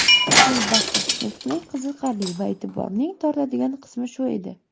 Albatta, nutqning qiziqarli va e’tiborning tortadigan qismi shu edi.